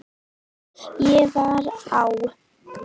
Ég var á